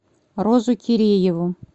розу кирееву